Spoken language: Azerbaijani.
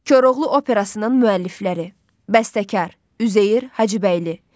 Koroğlu operasının müəllifləri: Bəstəkar Üzeyir Hacıbəyli.